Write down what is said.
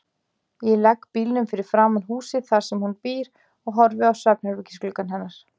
Ég legg bílnum fyrir framan húsið þar sem hún býr og horfi á svefnherbergisgluggann hennar.